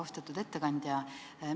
Austatud ettekandja!